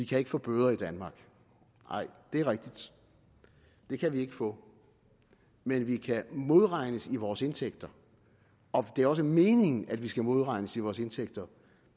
kan få bøder i danmark nej det er rigtigt det kan vi ikke få men vi kan modregnes i vores indtægter og det er også meningen at vi skal modregnes i vores indtægter